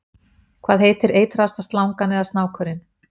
hvað heitir eitraðasta slangan eða snákurinn